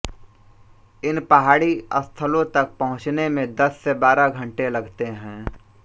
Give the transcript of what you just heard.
इन पहाड़ी स्थलों तक पहुँचने में दस से बारह घंटे लगते हैं